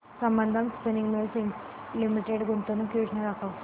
Sambandam Spinning Mills Limited गुंतवणूक योजना दाखव